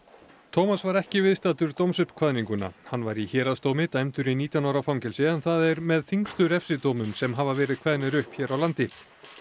thomas var ekki viðstaddur dómsuppkvaðninguna hann var í héraðsdómi dæmdur í nítján ára fangelsi en það er með þyngstu refsidómum sem hafa verið kveðnir upp hér á landi